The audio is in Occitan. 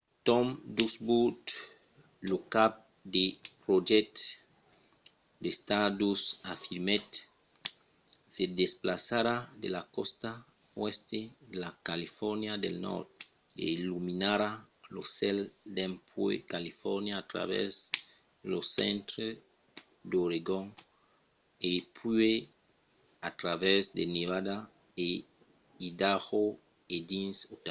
tom duxburt lo cap de projècte de stardust afirmèt: se desplaçarà de la còsta oèst de la califòrnia del nòrd e illuminarà lo cèl dempuèi califòrnia a travèrs lo centre d'oregon e puèi a travèrs de nevada e idaho e dins utah,